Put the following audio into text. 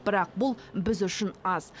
бірақ бұл біз үшін аз